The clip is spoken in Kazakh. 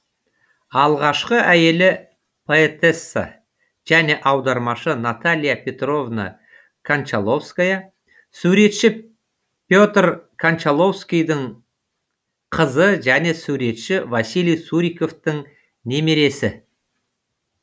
алғашқы әйелі поэтесса және аудармашы наталья петровна кончаловская суретші петр кончаловскийдің қызы және суретші василий суриковтың немересі